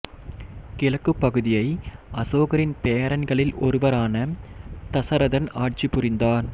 கிழக்குப் பகுதியை அசோகரின் பேரன்களில் ஒருவரான தசரதன் ஆட்சி புரிந்தார்